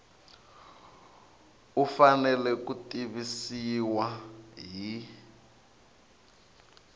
u fanele ku tivisiwa hi